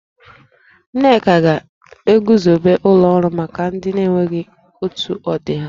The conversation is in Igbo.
Nneka ga-eguzobe ụlọ ọrụ maka ndị na-enweghi otu ọdị ha